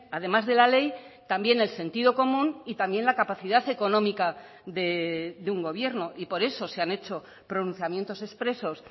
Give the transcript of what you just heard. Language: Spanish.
además de la ley también el sentido común y también la capacidad económica de un gobierno y por eso se han hecho pronunciamientos expresos